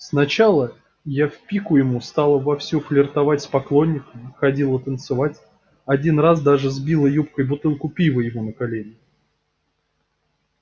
сначала я в пику ему стала вовсю флиртовать с поклонниками ходила танцевать один раз даже сбила юбкой бутылку пива ему на колени